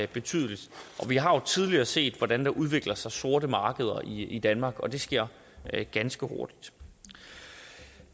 betydelig vi har tidligere set hvordan der udvikler sig sorte markeder i danmark og det sker ganske hurtigt